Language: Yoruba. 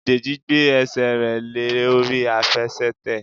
Deji gbé ẹsẹ̀ rẹ̀ lé orí Àfẹsẹ̀tẹ̀.